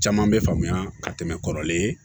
Caman bɛ faamuya ka tɛmɛ kɔrɔlen